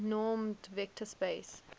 normed vector space